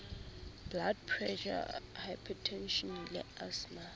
blood pressure hypertension le asthma